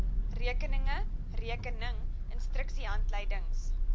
rekeninge rekening instruksiehandleidings